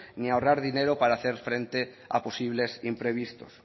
ni ahorrar dinero para hacer frente a posibles imprevistos